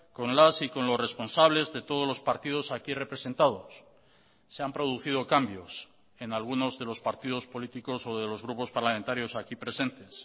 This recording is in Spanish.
con las y con los responsables de todos los partidos aquí representados se han producido cambios en algunos de los partidos políticos o de los grupos parlamentarios aquí presentes